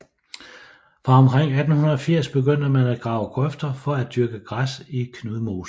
Fra omkring 1880 begyndte man at grave grøfter for at dyrke græs i Knudmosen